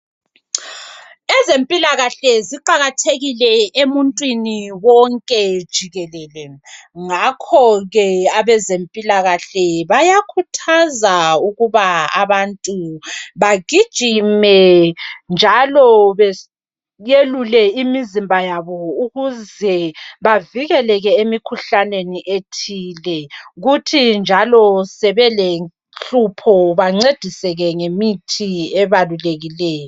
Ezempilakahle ziqakathekile emuntwini wonke jikelele ngakhoke abezempilakahle bayakhuthaza ukuba abantu bajigime njalo belule imizimba yaba ukuze bevilekeleke emikhuhlaneni ethize futhi njalo nxa sebele nhlupho bencedi ngemithi ebalulekileyo.